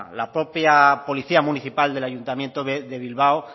la propia policía municipal del ayuntamiento de bilbao